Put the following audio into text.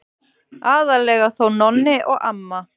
Aðallega þó Nonni og amma.